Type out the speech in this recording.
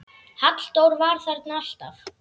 Halldór var þarna alltaf.